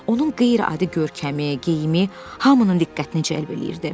Onun qeyri-adi görkəmi, geyimi hamının diqqətini cəlb eləyirdi.